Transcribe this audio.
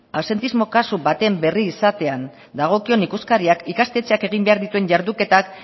absentismo kasu baten berri izatean dagokion ikuskariak ikastetxeak egin behar dituen jarduketak